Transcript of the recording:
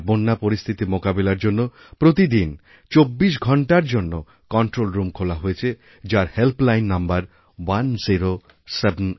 আর বন্যাপরিস্থিতি মোকাবিলার জন্য প্রতিদিন ২৪ ঘণ্টার জন্য কন্ট্রোল রুম খোলা হয়েছে যার হেল্প লাইন নম্বর 1078